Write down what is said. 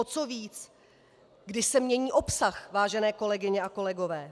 O co víc, když se mění obsah, vážené kolegyně a kolegové.